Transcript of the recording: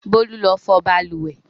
Bólú lọ fọ balùwẹ̀!